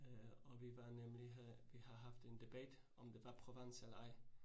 Øh og vi var nemlig, vi har haft en debat, om det var Provence eller ej